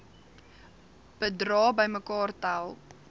bedrae bymekaar tel